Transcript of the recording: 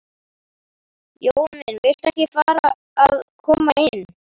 Jói minn. viltu ekki fara að koma inn?